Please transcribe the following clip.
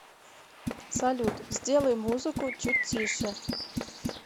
салют сделай музыку чуть тише